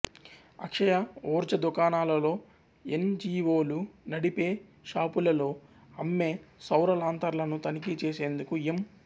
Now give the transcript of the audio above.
అక్షయ ఉర్జ దుకాణాలలో N G O లు నడిపే షాపులలో అమ్మే సౌర లాంతర్లను తనిఖీ చేసేందుకు ఎం